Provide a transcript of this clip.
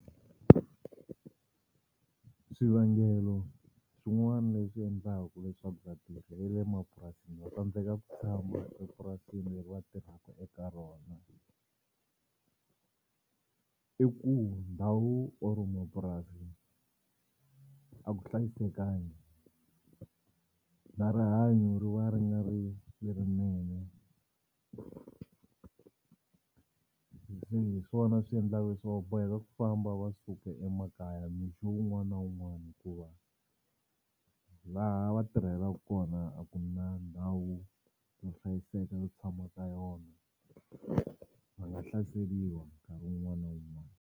Swivangelo swin'wana leswi endlaka leswaku vatirhi va le mapurasini va tsandzeka ku tshama epurasini leri va tirhaka eka rona i ku ndhawu or mapurasi a ku hlayisekangi na rihanyo ri va ri nga ri lerinene. Se hi swona swi endlaka boheka ku famba va suka emakaya mixo wun'wana na wun'wana hikuva laha va tirhelaku kona a ku na ndhawu yo hlayiseka yo tshama ka yona. Va nga hlaseriwa nkarhi wun'wani na wun'wani.